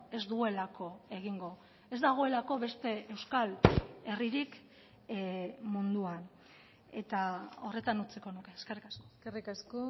ez duelako egingo ez dagoelako beste euskal herririk munduan eta horretan utziko nuke eskerrik asko eskerrik asko